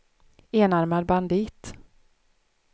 enarmad bandit